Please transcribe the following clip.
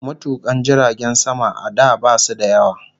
Matukan jiragen sama a da basu da yawa